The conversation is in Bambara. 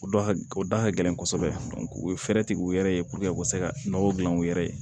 O da ha o da ka gɛlɛn kosɛbɛ u ye fɛɛrɛ tigɛ u yɛrɛ ye u ka se ka nɔgɔ dilan u yɛrɛ ye